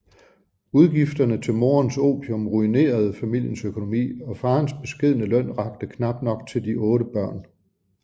Udgifterne til morens opium ruinerede familiens økonomi og farens beskedne løn rakte knap nok til de 8 børn